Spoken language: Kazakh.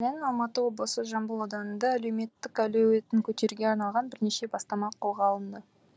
мәселен алматы облысы жамбыл ауданында әлеуметтің әлеуетін көтеруге арналған бірнеше бастама қолға алынды